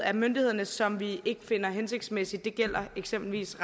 af myndighederne som vi ikke finder hensigtsmæssig det gælder eksempelvis